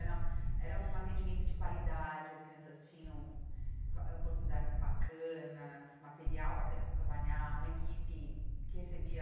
Era era um atendimento de qualidade, as crianças tinham vá oportunidades bacanas, material bacana para trabalhar, uma equipe que recebia